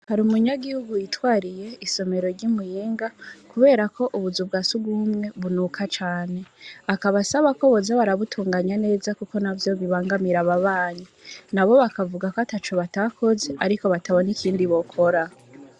Hari umunyagihugu Yitwariye isomero ry'imuyinga, kuberako ubuzu bwa sugumwe bunuka cane. Akaba asaba ko boza barabutunganya neza kuko navyo bibangamira n'abantu. Nabo bakavugako ataco batakoze, batabona ikindi bokora.